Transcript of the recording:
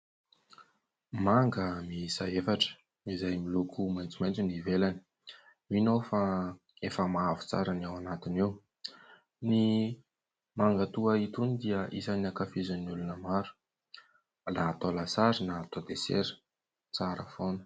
Manga miisa efatra izay miloko maitsomaitso ny ivelany. Mino aho fa efa mavo tsara ny ao anatiny ao. Ny manga toa itony dia isany ankafizin'ny olona maro na atao lasary na atao desera tsara foana.